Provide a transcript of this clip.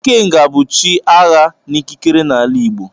Ikenga bụ chi agha na ikikere n'ala Igbo.